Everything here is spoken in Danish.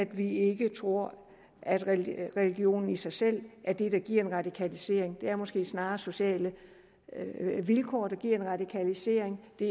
vi ikke tror at religion i sig selv er det der giver en radikalisering det er måske snarere sociale vilkår der giver en radikalisering det